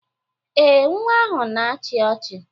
Ee, nwa ahụ na-achị ọchị.